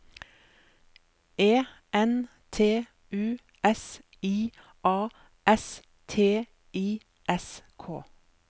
E N T U S I A S T I S K